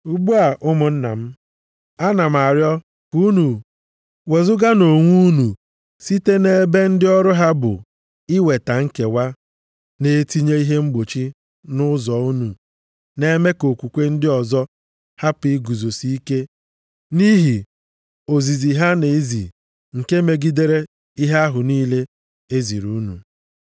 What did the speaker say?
Ugbu a, ụmụnna m, ana m arịọ ka unu wezuganụ onwe unu site nʼebe ndị ọrụ ha bụ iweta nkewa, na-etinye ihe mgbochi nʼụzọ unu, na-eme ka okwukwe ndị ọzọ hapụ iguzosi ike nʼihi ozizi ha na-ezi nke megidere ihe ahụ niile e ziri unu.